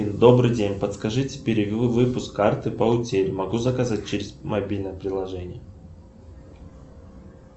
добрый день подскажите перевыпуск карты по утере могу заказать через мобильное приложение